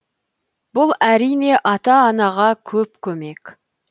бұл әрине ата анаға көп көмек